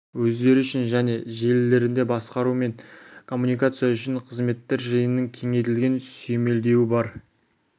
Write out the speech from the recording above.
өздері үшін және желілерінде басқару мен коммуникация үшін қызметтер жиынының кеңейтілген сүйемелдеуі бар